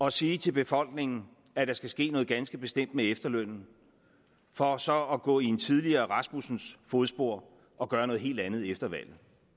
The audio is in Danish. at sige til befolkningen at der skal ske noget ganske bestemt med efterlønnen for så at gå i en tidligere rasmussens fodspor og gøre noget helt andet efter valget